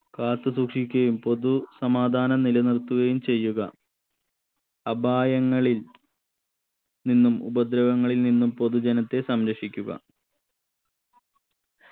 കാത്തു സൂക്ഷിക്കുകയും പൊതു സമാധാനം നിലനിർത്തുകയും ചെയ്യുക അപായങ്ങളിൽ നിന്നും ഉപദ്രവങ്ങളിൽ നിന്നും പൊതുജനത്തെ സംരക്ഷിക്കുക